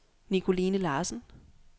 Nicoline Larsen